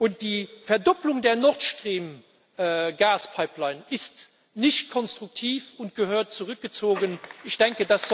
Und die Verdopplung der Nord Stream Gaspipeline ist nicht konstruktiv und muss zurückgezogen werden.